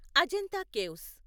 Ajanta caves